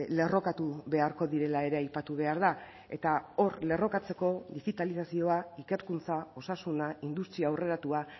lerrokatu beharko direla ere aipatu behar da eta hor lerrokatzeko digitalizazioa ikerkuntza osasuna industria aurreratua